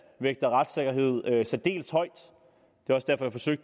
vægter retssikkerhed særdeles højt